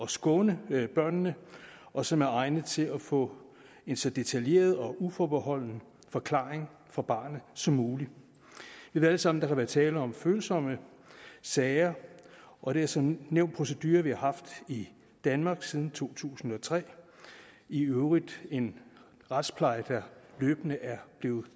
skåne børnene og som er egnet til at få en så detaljeret og uforbeholden forklaring fra barnet som muligt vi ved alle sammen at der kan være tale om følsomme sager og det er som nævnt en procedure vi har haft i danmark siden to tusind og tre i øvrigt en retspleje der løbende er blevet